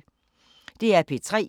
DR P3